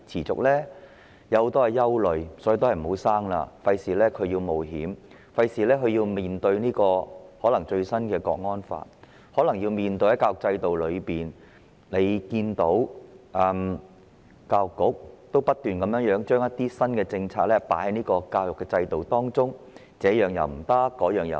我有很多憂慮，所以我不生育，以免要孩子冒險，因為要面對最新通過的《港區國安法》，要他們面對大家所見，教育局不斷將新政策納入教育制度中，禁止這樣，禁止那樣。